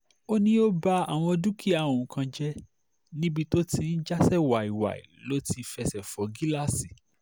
o ni o ba awọn dukia oun kan jẹ, nibi to ti jasẹ waiwai lo ti fẹsẹ fọ gilasi